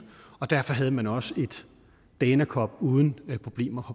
og derfor havde man også et dana cup uden problemer